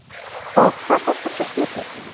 Og hvað kostar svo skipið?